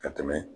Ka tɛmɛ